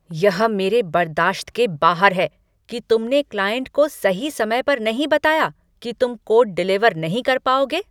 यह मेरे बर्दाश्त के बाहर है कि तुमने क्लाइंट को सही समय पर नहीं बताया कि तुम कोड डिलीवर नहीं कर पाओगे।